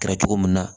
Kɛra cogo min na